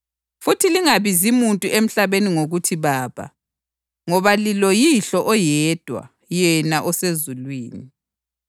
Futhi lingabizi muntu emhlabeni ngokuthi ‘baba,’ ngoba liloYihlo oyedwa, yena osezulwini.